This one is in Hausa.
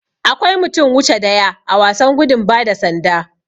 Akwai mutum wuche daya a wasan gudu bada sanda.